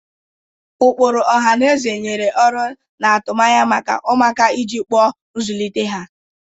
Ụkpụrụ ọha na eze nyere ọrụ na atụmanya maka ụmụaka iji kpuo nzụlite ha.